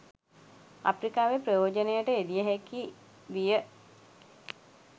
අප්‍රිකාවේ ප්‍රයෝජනයට යෙදිය හැකි විය